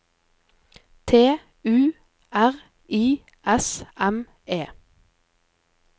T U R I S M E